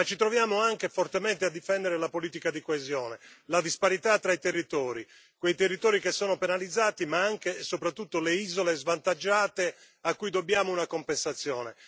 Ma ci troviamo anche a difendere fortemente la politica di coesione, volta a contrastare la disparità tra i territori, quei territori che sono penalizzati, ma anche e soprattutto le isole svantaggiate a cui dobbiamo una compensazione.